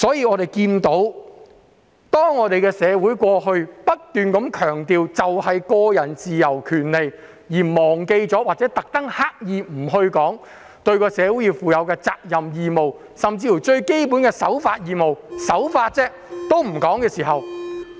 我們的社會過去不斷強調個人自由和權利，而忘記或刻意不提個人對社會應負的責任和義務，甚至連最基本的守法義務也不提。